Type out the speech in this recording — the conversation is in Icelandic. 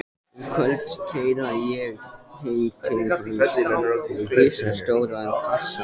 Um kvöldið keyri ég heim til hans með risastóran kassa.